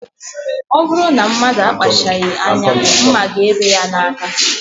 Ọ bụrụ na mmadụ akpachaghị anya, ḿmà ga-ebe ya n'aka.